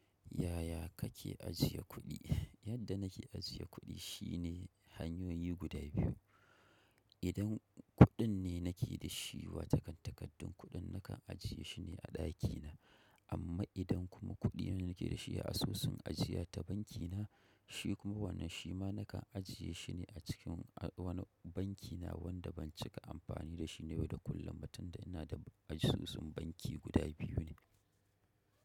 Yaya kake ajiye kuɗi? Yadda nake ajiye kuɗi shine hanyoyi guda biyu. Idan kuɗin ne nake da shi wa takan takardun kuɗin nakan ajiye shine a ɗakina. Amma idan kuma kuɗi ne nake da shi a asusun ajiya ta bankina, shi kuma wannan shi ma nakan ajiye shine a cikin wani banki na wanda ban cika amfani da shi yau da kullum ba tunda ina da asusun banki guda biyu ne.